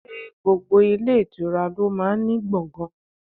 Ṣé gbogbo ilé ìtura lo máa ń ní gbọ̀ngan?